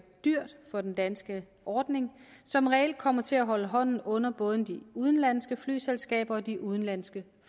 dyrt for den danske ordning som reelt kommer til at holde hånden under både de udenlandske flyselskaber og de udenlandske